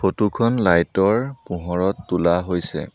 Photo খন light ৰ পোহৰত তোলা হৈছে।